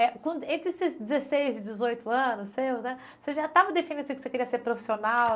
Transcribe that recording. Eh com, entre esses dezesseis e dezoito anos seus né, você já estava que você queria ser profissional?